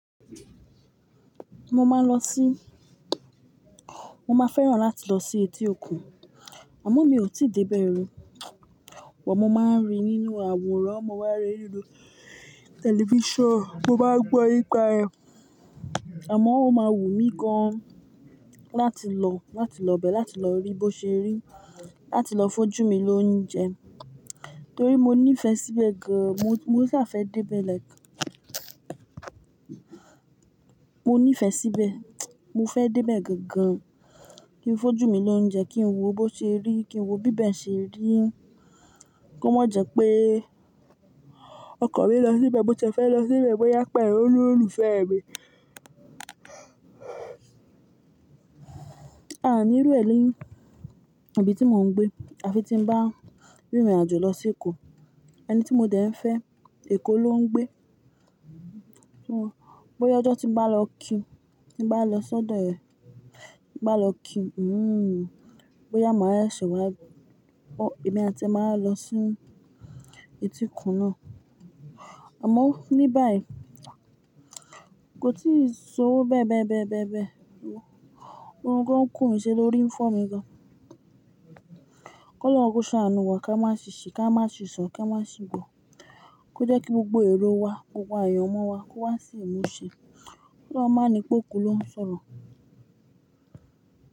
Mo máa lọ sí, mo máa fẹ́ràn láti lọ sí etí òkun, àmọ́ mi ò tíì dé bẹ́ẹ̀ rí. But mo máa ń rí nínú àwòrán, mo máa ń rí nínú tẹlifíṣàn, mo má gbọ́ nípa rẹ̀, àmọ́ ó máa wù mí gan láti lọ, láti lọ bẹ́ẹ̀, láti lọ rí bó ṣe rí, láti lọ fun ojú mi lóúnjẹ. Torí mo nífẹ̀ẹ́ síbẹ̀ gan, mo sa fẹ́ dé bẹ́ẹ̀ lẹ́ ẹ̀kan. Mo nífẹ̀ẹ́ síbẹ̀, mo fẹ́ dé bẹ̀ gangan, kí n fojú mi lóúnjẹ, kí n wò bó ṣe rí, kí n wò bíbẹ̀ ṣe rí. Kíó má jẹ pé, ọkan mi lọ síbẹ̀, mó tie fẹ́ lọ síbẹ̀, bó yá pẹ̀lu òlolufẹ́ mẹ̀ẹ́. A nírú ẹ nií ibíti mò ń gbé, àfi tí ń bá rìnrìnàjò lọ sí Èkó, ẹni tí mo dẹ̀ ń fẹ́, Èkó ló ń gbé. Só bóyá ọjọ́ tím bá lọ kí, timbá lọ si odọ̀ rẹ, timbá lọ kí bóyá èmi àti ẹ́ máa wa lọ sí etí òkun náà. Àmọ́ ní báyìí kò tíì si owo bẹ́ẹ̀ bẹ́ẹ̀ bẹ́ẹ̀ bẹ́ẹ̀ bẹ́ẹ̀. Òrun gan ku mí ṣe lórí ń fọ̀ mí gan. Ọlọ́run ko ṣàánú wa ká má ṣiṣe, ká má ṣi sọ, ká má ṣi gbò, kó jẹ́ kí gbogbo èrò wa, gbogbo ayọ̀ mọ wa kó wá sí ìmúṣe. Ki Ọlọ́run máa ni pé òkú ló ń sọ̀rọ̀.